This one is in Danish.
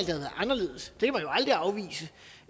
været anderledes